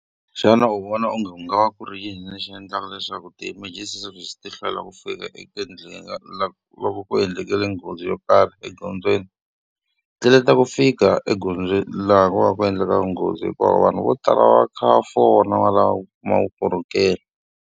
Xana u vona onge ku nga va ku ri yini lexi endlaka leswaku ti-emergency service ti hlwela ku fika eka laka ku va ku endleke nghozi yo karhi egondzweni? Ta ku fika egondzweni laha ku va ku endleka nghozi hikuva vanhu vo tala va kha va fona va lava u kuma vukorhokeri.